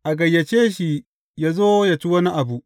A gayyace shi, yă zo, yă ci wani abu.